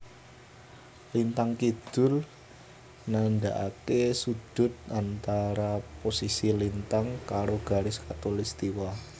Lintang kidul nandaake sudut antara posisi lintang karo garis Katulistwa